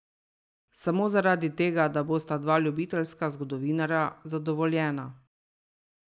Samo zaradi tega, da bosta dva ljubiteljska zgodovinarja zadovoljena.